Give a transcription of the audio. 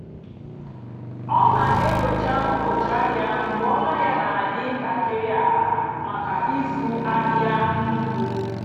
ọ́ nà-ènyócha ụ́bọ̀chị́ àhịá mgbe ónú àhịá nà-àdì́ ntàkị́rị́ àlà màkà ị́zụ́ àhịá nnùkwú.